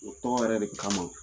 O tɔn yɛrɛ de kama